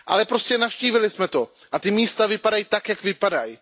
Ale prostě navštívili jsme je. A ta místa vypadají tak, jak vypadají.